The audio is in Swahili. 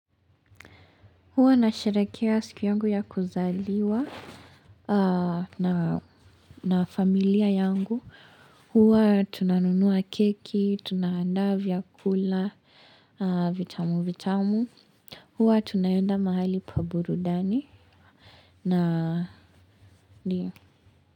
Huwa nasherekea siku yangu ya kuzaliwa na familia yangu. Huwa tunanunua keki, tunaandaa vyakula, vitamu vitamu. Huwa tunaenda mahali pa burudani.